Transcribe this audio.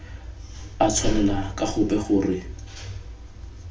a tshwanela ka gope gore